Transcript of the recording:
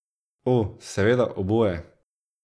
O, seveda, oboje.